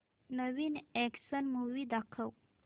नवीन action movie दाखव